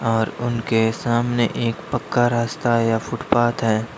और उनके सामने एक पक्का रास्ता या फुटपाथ है।